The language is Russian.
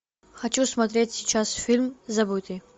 хочу смотреть сейчас фильм забытый